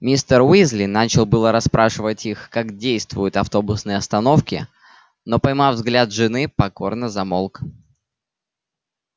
мистер уизли начал было расспрашивать их как действуют автобусные остановки но поймав взгляд жены покорно замолк